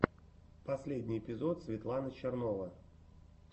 последний эпизод светлана чернова